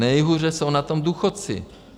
Nejhůře jsou na tom důchodci.